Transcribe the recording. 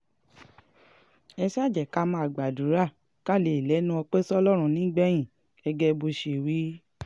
ẹ ṣáà jẹ́ ká máa gbàdúrà ká lè lẹ́nu ọpẹ́ sọlọ́run nígbẹ̀yìn gẹ́gẹ́ bó ṣe wí